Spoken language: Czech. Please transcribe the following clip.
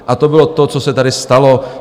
A to bylo to, co se tady stalo.